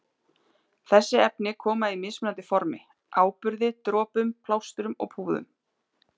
Þessi efni koma í mismunandi formi- áburði, dropum, plástrum og púðum.